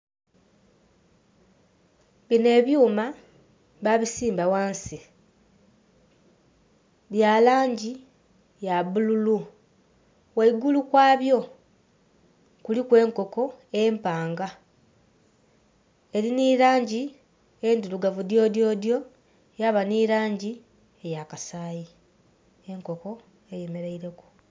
Binho ebyuma ba bisimba ghansi bya langi ya bululu gheigulu ghabyo kuliku enkoko empanga. Eri nhi langi endhirugavu dyodyodyo yaba nhi langi eya kasayi, enkoko eyemereire ku.